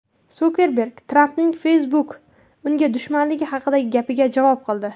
Sukerberg Trampning Facebook unga dushmanligi haqidagi gapiga javob qildi.